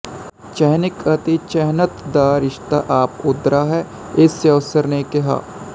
ਚਿਹਨਕ ਅਤੇ ਚਿਹਨਤ ਦਾ ਰਿਸ਼ਤਾ ਆਪ ਹੁਦਰਾ ਹੈ ਇਹ ਸੋਸਿਊਰ ਨੇ ਕਿਹਾ